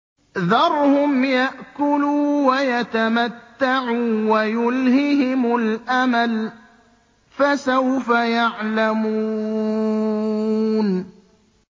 ذَرْهُمْ يَأْكُلُوا وَيَتَمَتَّعُوا وَيُلْهِهِمُ الْأَمَلُ ۖ فَسَوْفَ يَعْلَمُونَ